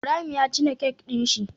Ibrahim ya cine kek din shi